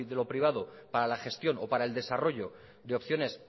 lo privado para la gestión o para el desarrollo de opciones